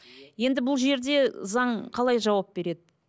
енді бұл жерде заң қалай жауап береді